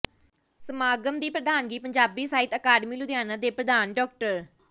ਸਮਾਗਮ ਦੀ ਪ੍ਰਧਾਨਗੀ ਪੰਜਾਬੀ ਸਾਹਿਤ ਅਕਾਡਮੀ ਲੁਧਿਆਣਾ ਦੇ ਪ੍ਰਧਾਨ ਡਾ